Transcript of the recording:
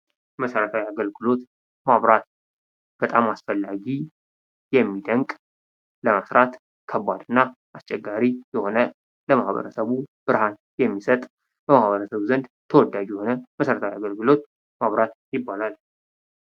መሰረታዊ አገልግሎት መብራት በጣም አስፈላጊ ፣የሚደንቅ፣ ለመሥራት ከባድና አስቸጋሪ፣ የሆነ ለማህበረሰቡ ብርሃን የሚሰጥ በማህበረሰቡ ዘንድ ተወዳጅ የሆነ መሰረታዊ አገልግሎት መብራት ይባላል።